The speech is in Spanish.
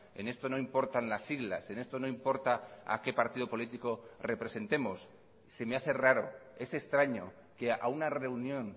en esto no importan las siglas en esto no importa a qué partido político representemos se me hace raro es extraño que a una reunión